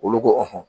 Olu ko